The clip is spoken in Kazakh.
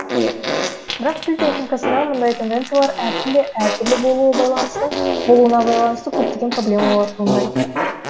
бірақ тіл техникасындағы мұндай тенденциялар әр тілде әр түрлі болуына байланысты көптеген проблемалар туындайды